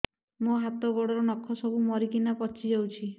ମୋ ହାତ ଗୋଡର ନଖ ସବୁ ମରିକିନା ପଚି ଯାଉଛି